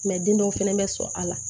den dɔw fɛnɛ bɛ sɔn a la